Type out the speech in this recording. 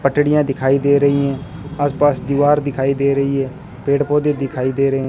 पटडीयां दिखाई दे रही हैं आसपास दीवार दिखाई दे रही है पेड़ पौधे दिखाई दे रहे--